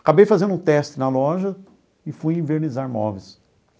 Acabei fazendo um teste na loja e fui envernizar móveis.